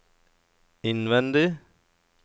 innvendig